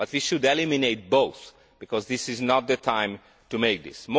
we should eliminate both because this is not the time to do this.